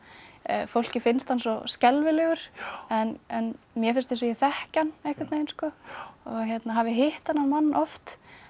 fólki finnst hann svo skelfilegur en mér finnst eins og ég þekki hann einhvern veginn og hafi hitt þennan mann oft